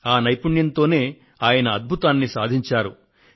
ఆ నైపుణ్యంతోనే ఆయన అద్భుతాన్ని సాధించారు